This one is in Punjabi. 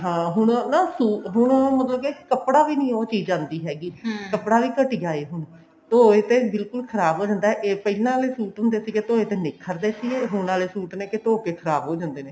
ਹਾਂ ਹੁਣ ਨਾ ਹੁਣ ਉਹ ਮਤਲਬ ਕੀ ਕੱਪੜਾ ਵੀ ਨੀ ਉਹ ਚੀਜ ਆਂਦੀ ਹੈਗੀ ਕੱਪੜਾ ਵੀ ਘਟਿਆ ਹੁਣ ਧੋਏ ਤੇ ਬਿਲਕੁਲ ਖਰਾਬ ਹੋ ਜਾਂਦਾ ਇਹ ਪਹਿਲਾਂ ਆਲੇ ਸੂਟ ਹੁੰਦੇ ਸੀ ਧੋਏ ਤੇ ਨਿੱਖਰਦੇ ਸੀਗੇ ਹੁਣ ਆਲੇ suit ਨੇ ਕੇ ਧੋਕੇ ਖਰਾਬ ਹੋ ਜਾਂਦੇ ਨੇ